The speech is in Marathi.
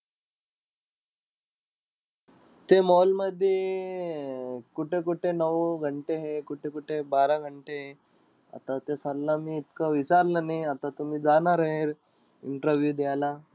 ते mall मधी अं कुठं-कुठं नऊ घंटे हे, कुठं-कुठं बारा घंटे हे. आता ते sir ला मी इतकं विचारलं नाई. आता तुम्ही जाणारे interview द्यायला.